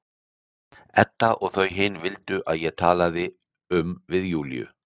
Edda og þau hin vildu að ég talaði um við Júlíu.